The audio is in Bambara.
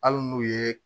Hali n'u ye